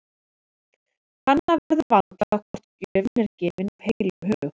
Kanna verður vandlega hvort gjöfin er gefin af heilum hug.